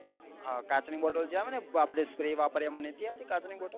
હા કાચ ની bottale જે આવે ને આપડે જે sprey વાપરીએ એમાં નથી આવતી કાચ ની bottale